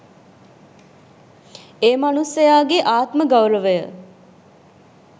ඒ මනුස්සයාගේ ආත්ම ගෞරවය